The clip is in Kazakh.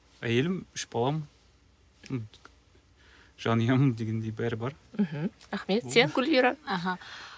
әйелім үш балам жанұям дегендей бәрі бар мхм рахмет сен гүлвира аха